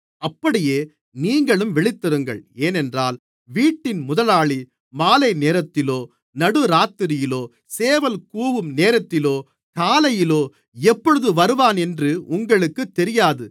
அப்படியே நீங்களும் விழித்திருங்கள் ஏனென்றால் வீட்டின் முதலாளி மாலைநேரத்திலோ நடுராத்திரியிலோ சேவல் கூவும் நேரத்திலோ காலையிலோ எப்பொழுது வருவான் என்று உங்களுக்குத் தெரியாது